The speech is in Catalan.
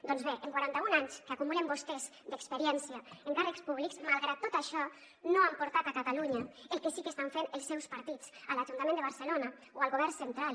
doncs bé en quaranta un anys que acumulen vostès d’experiència en càrrecs públics malgrat tot això no han portat a catalunya el que sí que estan fent els seus partits a l’ajuntament de barcelona o al govern central